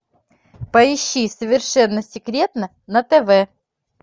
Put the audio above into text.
поищи совершенно секретно на тв